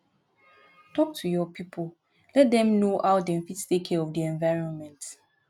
talk to your pipo let dem know how dem fit take care for di environment